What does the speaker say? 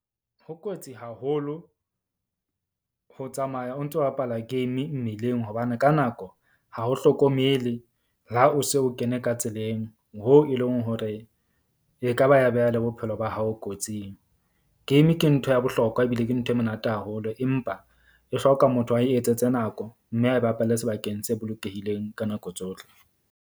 Ho kotsi haholo ho tsamaya o ntso bapala game mmileng, hobane ka nako ha ho hlokomele, le ha o se o kene ka tseleng. Hoo e leng hore ekaba ya beha le bophelo ba hao kotsing. Game ke ntho ya bohlokwa ebile ke ntho e monate haholo, empa e hloka motho a e etsetse nako mme a e bapalle sebakeng se bolokehileng ka nako tsohle.